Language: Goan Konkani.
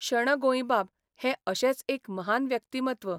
शण गोंयबाब हें अशेंच एक महान व्यक्तिमत्व.